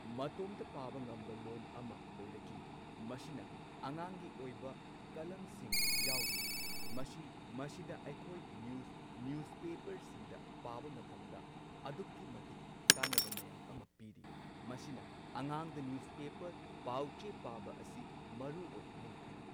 ꯃꯇꯣꯝꯇ ꯄꯥꯕ ꯉꯝꯕ ꯂꯣꯟ ꯑꯃ ꯑꯣꯏꯔꯛꯂꯤ ꯃꯁꯤꯅ ꯑꯉꯥꯡꯒꯤ ꯑꯣꯏꯕ ꯀꯂꯝꯁꯤꯡ ꯌꯥꯎꯔꯤ ꯃꯁꯤ ꯃꯁꯤꯗ ꯑꯩꯈꯣꯏ ꯅ꯭ꯌꯨꯁ ꯅ꯭ꯌꯨꯁꯄꯦꯄꯔꯁꯤꯡꯗꯗ ꯄꯥꯕ ꯃꯇꯝꯗ ꯑꯗꯨꯛꯀꯤ ꯃꯇꯤꯛ ꯀꯥꯟꯅꯕ ꯃꯌꯥꯝ ꯑꯃ ꯄꯤꯔꯤ ꯃꯁꯤꯅ ꯑꯉꯥꯡꯗ ꯅ꯭ꯌꯨꯁꯄꯦꯄꯔ ꯄꯥꯎꯆꯦ ꯄꯥꯕ ꯑꯁꯤ ꯃꯔꯨꯑꯣꯏ ꯍꯥꯏꯅ ꯈꯜꯂꯤ꯫